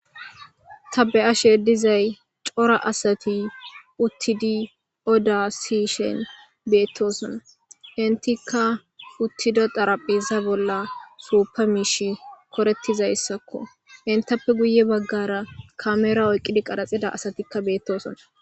tabe7asheeddizay cora asati uttidi oda siishen beettosona hintika uttido daraphiza bolla suuppa miish korettizayssakko intappe guye baggara kamera oyqqidi qaraxida asatikka beettosona